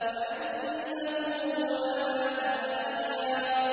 وَأَنَّهُ هُوَ أَمَاتَ وَأَحْيَا